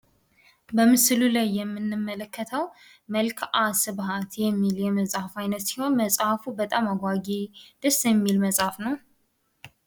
በምስሉ ላይ የምንመለከተው መልከአ ስባት የሚል መጽሃፍ ሲሆን፤ መጽሃፉ በጣም ደስ የሚል አጓጊ መጽሃፍ ነው።